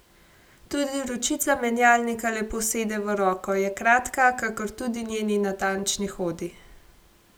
Tudi ročica menjalnika lepo sede v roko, je kratka, kakor tudi njeni natančni hodi.